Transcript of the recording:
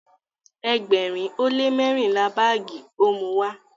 ẹgbẹrin o le mẹrinla baagi o Muwá